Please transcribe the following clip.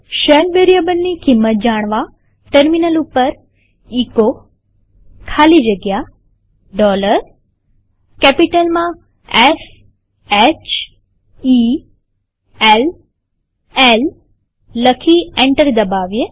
shell વેરીએબલની કિંમત જાણવાટર્મિનલ ઉપર એચો ખાલી જગ્યા કેપિટલમાંS H E L L લખી એન્ટર દબાવીએ